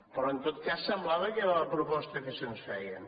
però en tot cas semblava que era la proposta que se’ns feia